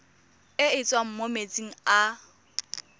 e tswang mo metsing a